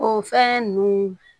O fɛn nunnu